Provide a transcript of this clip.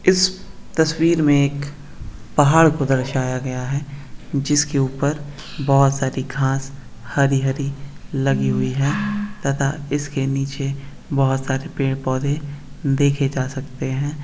इस तस्वीर में एक पहाड़ को दर्शाया गया है जिसके ऊपर बहुत सारी घास हरी-हरी लगी हुई है तथा उसके नीचे बहुत सारे पेड़-पौधे देखे जा सकते हैं।